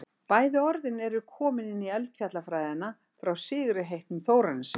bæði orðin eru komin inn í eldfjallafræðina frá sigurði heitnum þórarinssyni